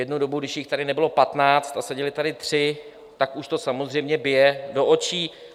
Jednu dobu, když jich tady nebylo patnáct a seděli tady tři, tak už to samozřejmě bije do očí.